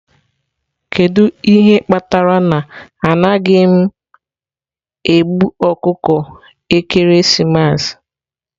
Kedu ihe kpatara na anaghị m egbu ọkụkọ ekeresimesi?